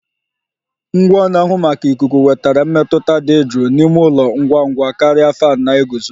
Ngwa na-ahụ maka ikuku wetara mmetụta dị jụụ n'ime ụlọ ngwa ngwa karịa fan na-eguzo